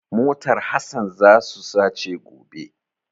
Motar Hasan za su sace gobe.